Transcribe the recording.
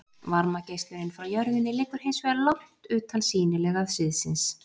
varmageislunin frá jörðinni liggur hins vegar langt utan sýnilega sviðsins